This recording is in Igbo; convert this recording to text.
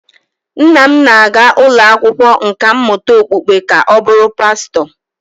Nna m na-aga ụlọ akwụkwọ nkà mmụta okpukpe ka ọ bụrụ pastọ